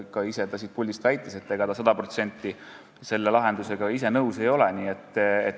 Ta ise väitis ka siit puldist, et ega ta sada protsenti selle lahendusega nõus ei ole.